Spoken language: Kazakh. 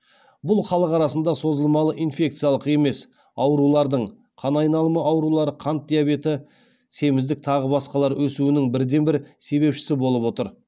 бұл халық арасында созылмалы инфекциялық емес аурулардың қан айналымы аурулары қант диабеті семіздік тағы басқалар өсуінің бірден бір себепшісі болып отыр